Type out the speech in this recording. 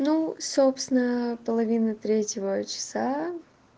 ну собственно половины третьего часа